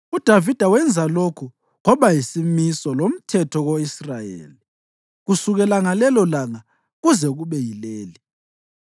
UDavida wenza lokhu kwaba yisimiso lomthetho ko-Israyeli kusukela ngalelolanga kuze kube yileli.